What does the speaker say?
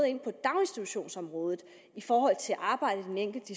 ind på daginstitutionsområdet i forhold til arbejdet i den enkelte